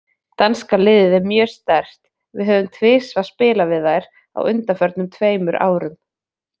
Danska liðið er mjög sterkt, við höfum tvisvar spilað við þær á undanförnum tveimur árum.